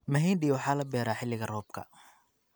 Mahindi waxaa la beeraa xilliga roobka.